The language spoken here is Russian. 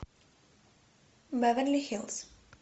беверли хиллз